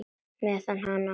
Meiða hana.